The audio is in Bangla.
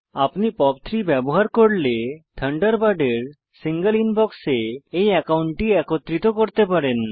আপনি পপ 3 ব্যবহার করলে থান্ডারবার্ডের সিঙ্গল ইনবক্সে এই অ্যাকাউন্টটি একত্রিত করতে পারেন